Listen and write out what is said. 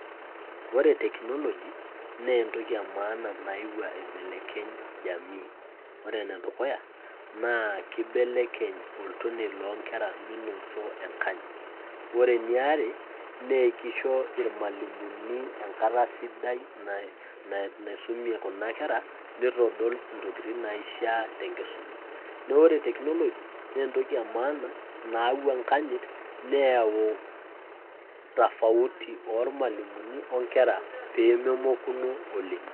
Ore teknoloji naa entoki emaana nayeuo aibelekeny' [csjamii, ore ene dukuya naa kibelekeny' oltoniei loonkera minoto enkanyit ore eniare naa ekisho irmalimuni enkata sidai naisumie kuna kerra nitodolintokitin naishiaa tenkisuma. Neeku ore teknoloji naa entoki emaana nayau enkanyit, neyau tofauti ormalimuni onkerra peememokuno oleng'.